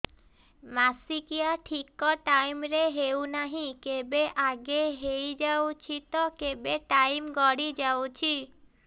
ମାସିକିଆ ଠିକ ଟାଇମ ରେ ହେଉନାହଁ କେବେ ଆଗେ ହେଇଯାଉଛି ତ କେବେ ଟାଇମ ଗଡି ଯାଉଛି